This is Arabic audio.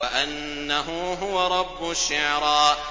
وَأَنَّهُ هُوَ رَبُّ الشِّعْرَىٰ